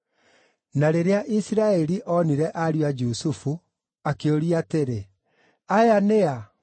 Na rĩrĩa Isiraeli onire ariũ a Jusufu, akĩũria atĩrĩ, “Aya nĩ a?”